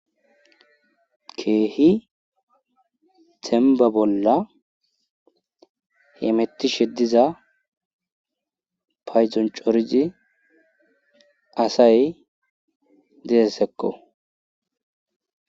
Keehi temba bolla hemettishe diza payzon corizi asay deessekko.